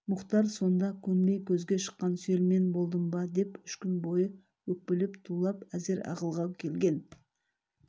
мұхтар сонда көнбей көзге шыққан сүйел мен болдым ба деп үш күн бойы өкпелеп тулап әзер ақылға келген